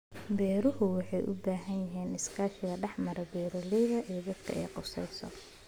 Beeruhu waxay u baahan yihiin iskaashi dhex mara beeralayda iyo dadka ay khusayso.